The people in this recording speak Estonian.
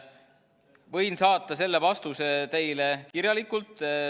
Võin saata selle vastuse teile kirjalikult.